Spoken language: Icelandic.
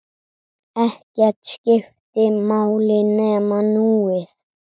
Ekkert skipti máli nema núið.